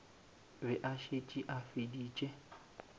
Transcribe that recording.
be a šetše a feditše